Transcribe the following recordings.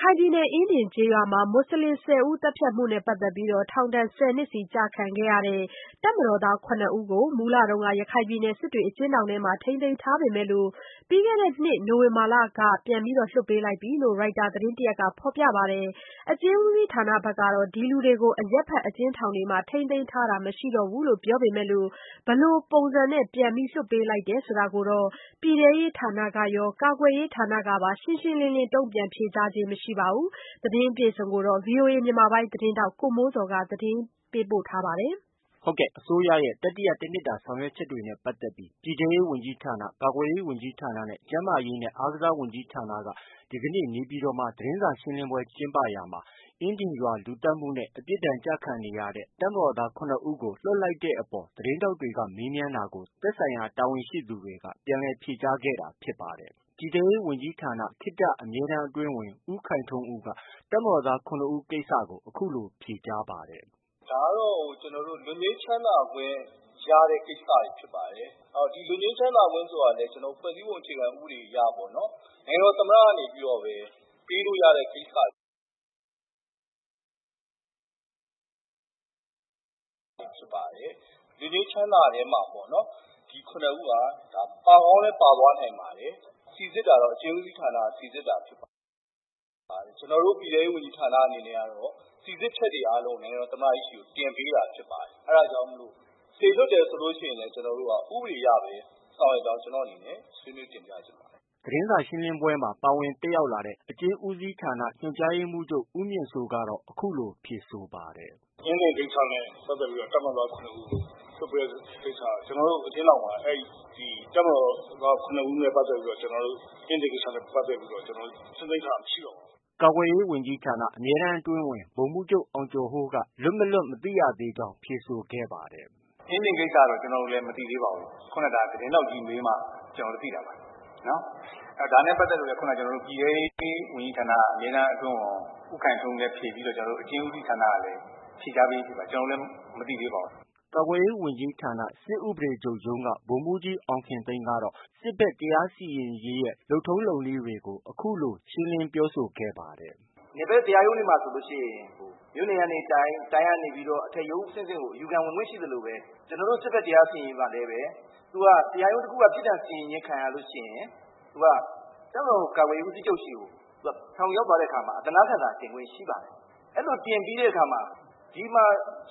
ခိုင်ပြည်နယ် အင်းဒင်ကျေးရွာမှာ မူဆလင် ၁၀ ဦး သတ်ဖြတ်မှုနဲ့ ပတ်သက်ပြီး ထောင်ဒဏ် ၁၀နှစ် စီကျခံနေရတဲ့ တပ်မတော်သား ၇ ဦးကို မူလက စစ်တွေ အကျဉ်းထောင်မှာ ထိမ်းသိမ်းထားပေမယ့် ပြီးခဲ့တဲ့နှစ် နိုဝင်ဘာလက ပြန်လည် လွှတ်ပေးလိုက်ပြီလို့ ရိုက်တာ သတင်းတရပ်က ဖော်ပြပါတယ်။ အကျဉ်းဦးစီးဌာနကတော့ ဒီလူတွေကို အရပ်ဖက် အကျဉ်းထောင်တွေမှာ ထိမ်းသိမ်းထားတာ မရှိတော့ဘူးလို့ ပြောပေမယ့် ဘယ်လို ပုံစံနဲ့ ပြန်လည် လွှတ်ပေးခဲ့တယ်ဆိုတာကိုတော့ ပြည်ထဲရေးဌာနကရော ကာကွယ်ရေးဌာနကပါ ရှင်းရှင်းလင်းလင်း တုံ့ပြန်ဖြေကြားခြင်း မရှိပါဘူး။ ဒီသတင်းကိုတော့ ဗွီအိုအေ မြန်မာပိုင်းရဲ့သတင်းထောက် ကိုမိုးဇော်က တင်ပြထားပါတယ်။ အစိုးရရဲ့ တတိယတနှစ်တာ ဆောင်ရွက်ချက်တွေနဲ့ ပတ်သက်ပြီး ပြည်ထဲရေး၊ ကာကွယ်ရေးနဲ့ ကျန်းမာရေးနဲ့ အားကစားဝန်ကြီးဌာနက ဒီကနေ့ နေပြည်တော်မှာ သတင်းစာရှင်းလင်းရာမှာ အင်းဒင်ရွာလူသတ်မှုနဲ့ အပြစ်ကျခံနေရတဲ့ တပ်မတော်သား ၇ ဦးကို လွှတ်လိုက်တဲ့အပေါ် သတင်းထောက်တွေက မေးမြန်းတာကို သက်ဆိုင်ရာ တာဝန်ရှိသူတွေက ပြန်လည်ဖြေကြားခဲ့တာ ဖြစ်ပါတယ်။ ပြည်ထဲရေးဝန်ကြီးဌာန ခေတ္တ အမြဲတမ်း အတွင်းဝန် ဦးခိုင်ထွန်းဦးကတော့ တပ်မတော်သား ၇ ဦး ကိစ္စကို အခုလို ဖြေကြားပါတယ်။ “ဒါကတော့ ကျနော်တို့ လွတ်ငြိမ်းချမ်းသာခွင့်ရတဲ့ ကိစ္စတွေ ဖြစ်ပါတယ်။ လွတ်ငြိမ်း ချမ်းသာခွင့်ဆိုတာလည်း ဖွဲ့စည်းပုံ အခြေခံဥပဒေအရ နိုင်ငံတော်သမ္မတကပဲ ပေးလို့ ရတဲ့ ကိစ္စတွေ ဖြစ်ပါတယ်။ လွတ်ငြိမ်းချမ်းသာထဲမှာ ဒီ ၇ ဦးက ပါကောင်းလည်း ပါသွားနိုင်ပါတယ်။ စိစစ်တာတော့ အကျဉ်းဦးစီးဌာနကနေ စိစစ်တာ ဖြစ်ပါတယ်။ ကျနော်တို့ ပြည်ထဲရေးဝန်ကြီးဌာနအနေနဲ့ကတော့ စိစစ်ချက်တွေအားလုံး နိုင်ငံတော် သမ္မတကြီးဆီ တင်ပေးတာ ဖြစ်ပါတယ်။ အဲဒါကြောင့် စေလွှတ်တယ်ဆိုရင်လည်း ဥပဒေအရပဲ ဆောင်ရွက်ကြောင်း ကျနော့်အနေနဲ့ ဆွေးနွေးတင်ပြလိုပါတယ်။ ” သတင်းစာရှင်းလင်းပွဲမှာ ပါဝင်တက်ရောက်လာတဲ့ အကျဉ်းဦးစီးဌာန ညွှန်ကြားရေးမှုးချုပ် ဦးမြင့်စိုးကတော့ အခုလို ဖြေဆိုပါတယ်။ “အင်းဒင်ကိစ္စနဲ့ ပတ်သက်ပြီးတော့ တပ်မတော်သား ၇ ဦး လွှတ်ပေးလိုက်တဲ့ကိစ္စက ကျနော်တို့ အကျဉ်းထောင်မှာ တပ်မတော်သား ၇ ဦးနဲ့ ပတ်သက်ပြီးတော့ ကျနော်တို့ အင်းဒင်ကိစ္စနဲ့ပတ်သက်ပြီး ကျနော်တို့ ထိန်းသိမ်းထားတာ မရှိတော့ပါဘူး။” ကာကွယ်ရေးဝန်ကြီးဌာနက အမြဲတမ်းအတွင်းဝန် ဗိုလ်မှူးချုပ် အောင်ကျော်ဟိုး လွတ်၊ မလွတ် မသိရသေး ကြောင်း ဖြေဆိုခဲ့ပါတယ်။ “အင်းဒင်ကိစ္စတော့ ကျနော်တို့ မသိသေးပါဘူး။ ဒါနဲ့ပတ်သက်လို့လည်း ကျနော်တို့ ပြည်ထဲရေးဝန်ကြီးဌာနက အမြဲတမ်းအတွင်းဝန် ဦးခိုင်ထွန်းဦးလည်း ဖြေပြီးတော့ အကျဉ်းဦးစီးဌာနကလည်း ဖြေကြားပြီးဖြစ်ပါတယ်။ ကျနော်တို့လည်း မသိသေးပါဘူး။” ကာကွယ်ရေးဝန်ကြီးဌာန စစ်ဥပဒေချုပ်ရုံးက ဗိုလ်မှူးကြီးအောင်ခင်သိန်းကတော့ စစ်ဘက်တရားစီရင်ရေးရဲ့ လုပ်ထုံးလုပ်နည်းတွေကို အခုလို ရှင်းလင်းပြောဆိုခဲ့ပါတယ်။ “ နယ်ဘက် တရားရုံးတွေမှာ ဆိုရင် မြို့နယ်ကနေ တိုင်း၊ တိုင်းကနေ အထက်ရုံးအဆင့်ဆင့်ကို အယူခံ ဝင်ခွင့်ရှိသလိုပဲ ကျနော်တို့ စစ်ဘက် တရားစီရင်ရေးမှာလည်း သူက တရားရုံးတစ်ခုခုက ပြစ်ဒဏ်စီရင်ခြင်း ခံရလို့ ရှိရင် သူက တပ်မတော် ကာကွယ်ရေးဦးစီးချုပ်ဆီကို ထောင်ရောက်သွားတဲ့အခါမှာ အသနားခံစာတင်ခွင့် ရှိပါတယ်။ အဲလို တင်ပြီးတဲ့အခါမှာ ဒီမှာ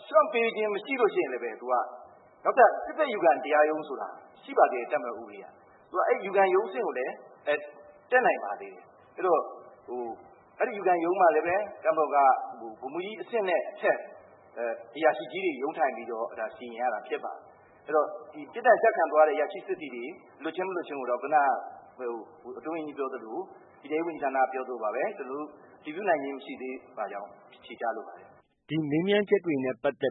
လျော့ပေးခြင်းမရှိရင်လည်း နောက်ထပ် စစ်ဘက်အယူခံတရားရုံးဆိုတာ ရှိပါသေးတယ်။ တပ်မတော်ဥပဒေအရ။ အဲဒီအယူခံရုံးအဆင့်ကိုလည်း တက်နိုင်ပါသေးတယ်။ အဲဒီအယူခံရုံးမှာလည်း တပ်မတော်က ဗိုလ်မှူးကြီးအဆင့်နဲ့ အထက် အရာရှိကြီးတွေ ရုံးထိုင်ပြီးတော့ စီရင်ရတာဖြစ်ပါတယ်။ အဲတော့ ပြစ်ဒဏ်ကျခံသွားရတဲ့ အရာရှိစစ်သည်တွေ လွတ်ခြင်း၊ မလွတ်ခြင်းကိုတော့ ခုနက အတွင်းဝန်ကြီးပြောသလို၊ ပြည်ထဲရေးဝန်ကြီးဌာနက ပြောသလိုပါပဲ အတည်ပြုနိုင်ခြင်း မရှိကြောင်း ဖြေကြားလိုပါတယ်။” ဒီမေးမြန်းချက်တွေကိုတော့ တ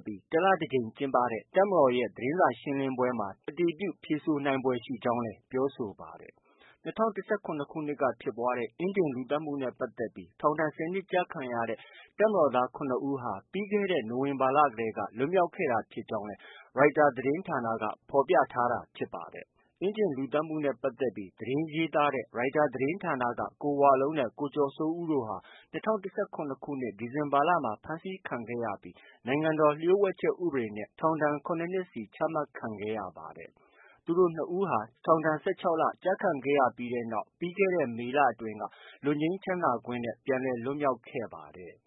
လ တကြိမ်ကျင်းပတဲ့ တပ်မတော်ရဲ့ သတင်းစာရှင်းလင်းပွဲမှာ ဖြေဆိုနိုင်ဖွယ် ရှိကြောင်းလည်း ပြောဆိုပါတယ်။ ၂၀၁၇ ခုနှစ်က ဖြစ်ပွားတဲ့ အင်းဒင် လူသတ်မှုနဲ့ ပတ်သက်ပြီး ထောင် ၁၀ နှစ်ကျခံရတဲ့ တပ်မတော်သား ၇ ဦးဟာ ပြီးခဲ့တဲ့နှစ် နိုဝင်ဘာလကတည်းက လွတ်မြောက်ခဲ့တာ ဖြစ်ကြောင်းလည်း ရိုက်တာသတင်းဌာနက ဖော်ပြထားတာ ဖြစ်ပါတယ်။ အင်းဒင်လူသတ်မှုကိစ္စနဲ့ ပတ်သက်ပြီး သတင်းရေးသားခဲ့တဲ့ ရိုက်တာသတင်းဌာနက ကိုဝလုံးနဲ့ ကိုကျော်စိုးဦးတို့ဟာ ၂၀၁၇ ခုနှစ် ဒီဇင်ဘာလမှာ ဖမ်းဆီးခံရပြီး နိုင်ငံတော်လျို့ဝှက်ချက် ဥပဒေနဲ့ ထောင်ဒဏ် ၇ နှစ်စီ ချမှတ်ခံခဲ့ရပါတယ်။ သူတို့ ၂ ဦးဟာ ထောင်ဒဏ် ၁၆ လ ကျခံခဲ့ရပြီးတဲ့နောက်ပြီးခဲ့တဲ့ မေလအတွင်းက လွတ်ငြိမ်းချမ်းသာခွင့်နဲ့ ပြန်လည် လွတ်မြောက်ခဲ့ပါတယ်။